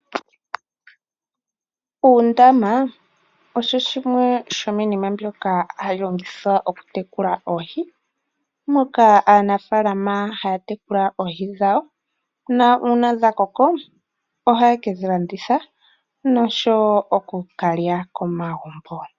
Uundama osho shimwe shomiinima mbyoka hayi longithwa oku tekulila oohi, moka aanafaalama haya tekulile oohi dhawo. Uuna dha koko ohaye ke dhi landitha nosho wo oku ka lya komagumbo.